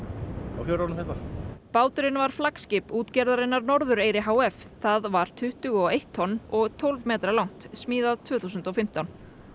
úr fjörunum hérna báturinn var flagsskip útgerðarinnar h f það var tuttugu og eitt tonn og tólf metra langt smíðað tvö þúsund og fimmtán